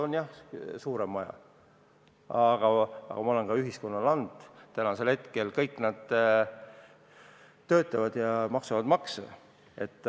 On jah suurem maja, aga ma olen ka ühiskonnale andnud: kõik nad töötavad ja maksavad makse.